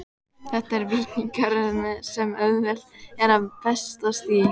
Þetta er vítahringur sem auðvelt er að festast í.